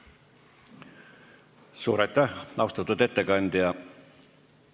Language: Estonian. Suur aitäh, austatud ettekandja!